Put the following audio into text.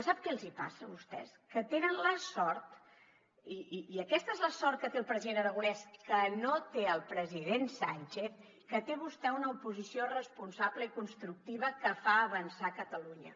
sap què els hi passa a vostès que tenen la sort i aquesta és la sort que té el president aragonès que no té el president sánchez que té vostè una oposició responsable i constructiva que fa avançar catalunya